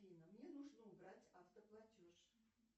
афина мне нужно убрать автоплатеж